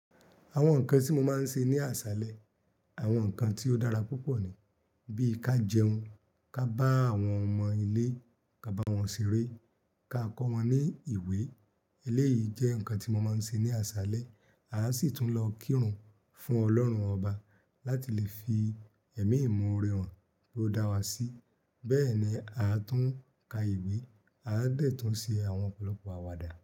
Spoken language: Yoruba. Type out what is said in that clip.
Àwọn nǹkan tí mo máa ń ṣe ní àṣálẹ́, àwọn nǹkan tí ó dára púpọ̀ ni. Bí i ká jẹun, ká bá àwọn ọmọ ilé, ká bá wọn ṣeré, ká kọ́ wọn ní ìwé. Eléyìí jẹ́ nǹkan tí mo máa ń ṣe ní àṣálẹ́. Aa sì tún lọ kírun fún ọlọ́run ọba láti lè fi ẹ̀mí ìmọ̀orẹ̀ hàn pe o dá wa sí. Bẹ́ẹ̀ ni aa tún ka ìwé, aa dẹ̀ tún ṣe àwọn ọ̀pọ̀lọpọ̀ àwàdà.